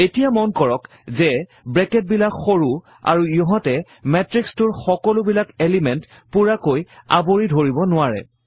এতিয়া মন কৰক যে ব্ৰেকেটবিলাক সৰু আৰু ইহঁতে matrix টোৰ সকলোবিলাক এলিমেণ্ট পূৰাকৈ আৱৰি ধৰিব নোৱাৰে